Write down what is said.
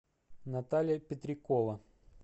наталья петрякова